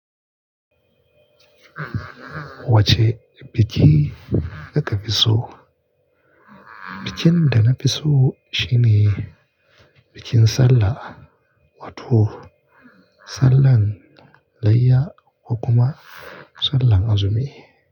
Wacce biki kuka fi so? Bikin da na fi so shine bikin Sallah, wato Sallan Layya ko kuma Sallan Azumi.